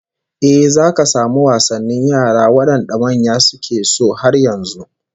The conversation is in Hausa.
Eh, zaka samu wasannin yara wadanda manya suke so har yanzu